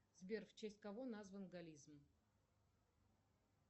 сбер в честь кого назван голлизм